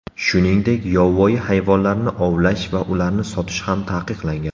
Shuningdek, yovvoyi hayvonlarni ovlash va ularni sotish ham taqiqlangan.